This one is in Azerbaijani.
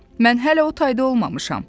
Mən hələ o tayda olmamışam.